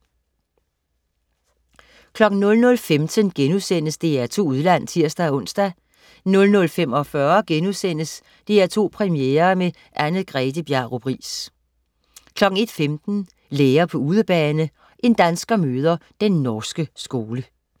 00.15 DR2 Udland* (tirs-ons) 00.45 DR2 Premiere med Anne-Grethe Bjarup Riis* 01.15 Lærer på udebane. En dansker møder den norske skole